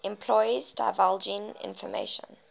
employees divulging information